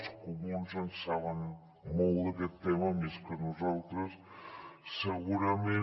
els comuns en saben molt d’aquest tema més que nosaltres segurament